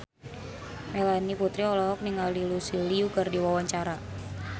Melanie Putri olohok ningali Lucy Liu keur diwawancara